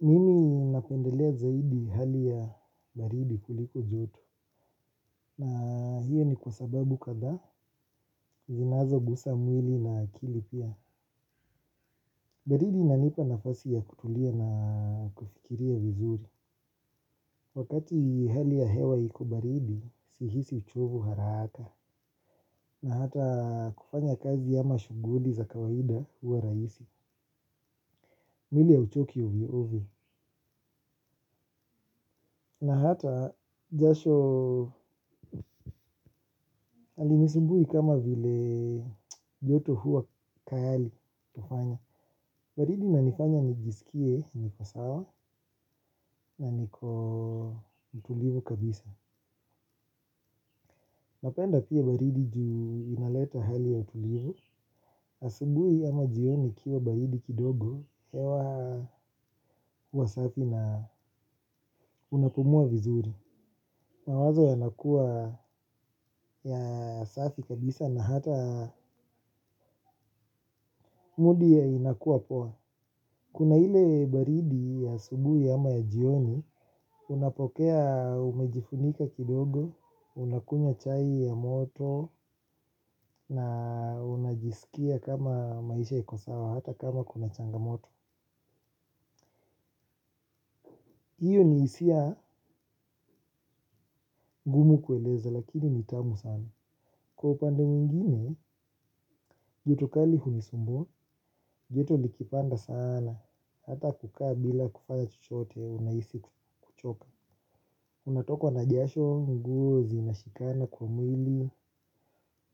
Mimi napendelea zaidi hali ya baridi kuliko joto. Na hiyo ni kwa sababu kadhaa zinazogusa mwili na akili pia. Baridi inanipa nafasi ya kutulia na kufikiria vizuri. Wakati hali ya hewa iko baridi sihisi uchovu haraka. Na hata kufanya kazi ama shughuli za kawaida huwa rahisi. Mwili hauchoki ovyo ovyo. Na hata jasho halinisumbui kama vile joto huwa tayari kufanya. Baridi inanifanya nijisikie niko sawa na niko mtulivu kabisa. Napenda pia baridi juu inaleta hali ya utulivu. Asubuhi ama jioni kukiwa baridi kidogo hewa huwa safi na unapumua vizuri. Mawazo yanakua ya safi kabisa na hata mood inakua poa. Kuna ile baridi ya asubuhi ama ya jioni, unapokea umejifunika kidogo, unakunywa chai ya moto na unajisikia kama maisha iko sawa hata kama kuna changamoto. Hiyo ni hisia ngumu kueleza lakini ni tamu sana. Kwa upande mwingine, joto kali hunisumbua, joto likipanda sana. Hata kukaa bila kuvaa chochote unahisi joto. Unatokwa na jasho, nguo zinashikana kwa mwili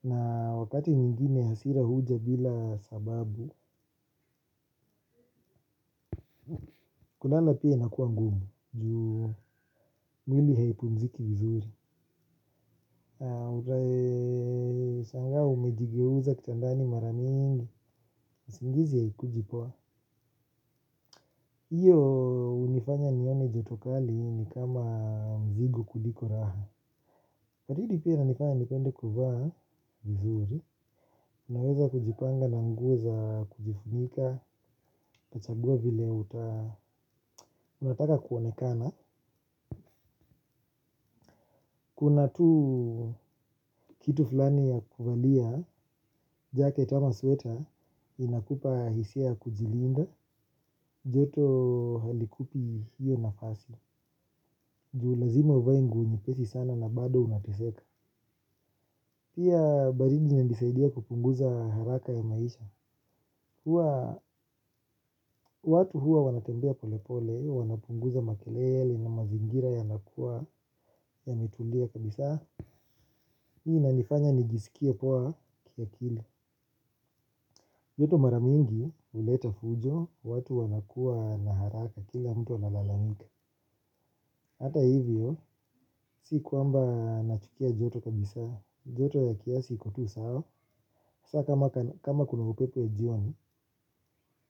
na wakati mwingine hasira huja bila sababu kulala pia inakua ngumu juu mwili haipumziki vizuri. Unashangaa umejigeuza kitandani mara mingi, usingizi haikuji poa hiyo hunifanya nione joto kali ni kama mzigo kuliko raha. Baridi pia hunifanya nipende kuvaa vizuri, niweza kujipanga n anguo za kujifunika, kachagua vile uta, unataka kuonekana. Kuna tu kitu fulani ya kuvalia, jaket ama sweater, inakupa hisia kujilinda, joto halikupi hiyo nafasi. Ju lazima uvae nguo nyepesi sana na bado unateseka. Pia baridi inanisaidia kupunguza haraka ya maisha. Huwa, watu huwa wanatembea polepole, wanapunguza makelele na mazingira yanakua, yametulia kabisa. Hii inanifanya nijisikie poa kiakili. Joto mara mingi huleta fujo, watu wanakuwa na haraka kila mtu analalamika. Hata hivyo, si kuamba nachukia joto kabisa. Joto ya kiasi iko tu sawa. Hasaa kama kuna upepo ya jioni.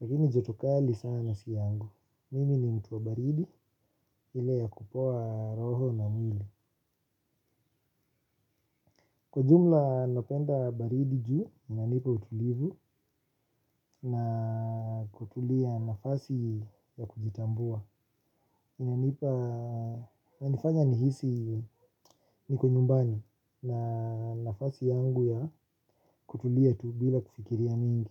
Lakini joto kali sana si yangu. Mimi ni mtu wa baridi ile ya kupoa roho na mwili. Kwa ujumla napenda baridi ju, inanipa utulivu na kutulia nafasi ya kujitambua. Inanipa inanifanya nihisi niko nyumbani na nafasi yangu ya kutulia tu bila kufikiria mingi.